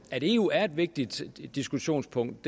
at eu er et vigtigt diskussionspunkt